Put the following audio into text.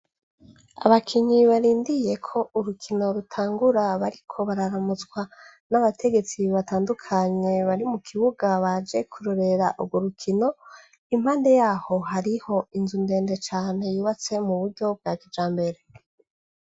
Abakinyi barindiriye ko urukino rutangura bariko bararamutswa n' abategetsi batandukanye bari mu kibuga baje kurorera ugwo rikono impande yaho hariho inzu ndende cane yubatse mu buryo bwa kijambere.